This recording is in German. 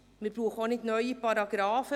Wir brauchen auch nicht neue Paragrafen.